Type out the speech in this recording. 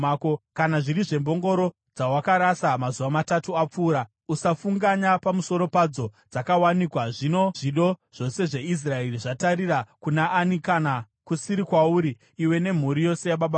Kana zviri zvembongoro dzawakarasa mazuva matatu apfuura, usafunganya pamusoro padzo, dzakawanikwa. Zvino zvido zvose zveIsraeri zvatarira kuna ani kana kusiri kwauri iwe nemhuri yose yababa vako?”